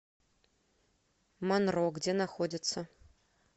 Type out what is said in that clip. монро где находится